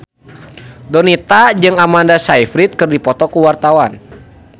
Donita jeung Amanda Sayfried keur dipoto ku wartawan